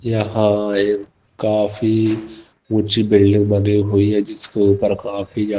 यहां एक काफी ऊंची बिल्डिंग बनी हुई है जिसके ऊपर काफी ज्यादा--